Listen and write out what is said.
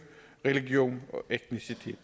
vi